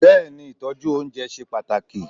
Bẹ́ẹ̀ni, Ìtọ́jú oúnjẹ ṣe pàtàkì.